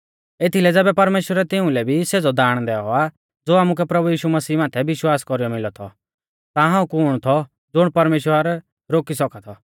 एथीलै ज़ैबै परमेश्‍वरै तिउंलै भी सेज़ौ दाण दैऔ आ ज़ो आमुकै प्रभु यीशु मसीह माथै विश्वास कौरीयौ मिलौ थौ ता हाऊं कुण थौ ज़ुण परमेश्‍वर रोकी सौका थौ